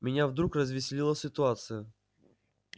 меня вдруг развеселила ситуация